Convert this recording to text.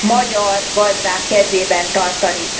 magyar gazdák kezében tartani.